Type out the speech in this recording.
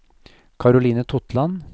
Karoline Totland